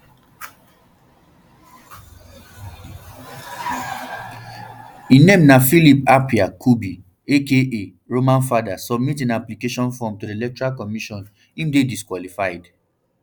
im name na um philip appiah um kubi aka roman father submit im nomination forms to di electoral commission im dey disqualified